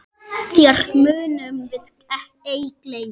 Þér munum við ei gleyma.